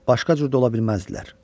Başqa cür də ola bilməzdilər.